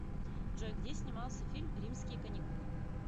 джой где снимался фильм римские каникулы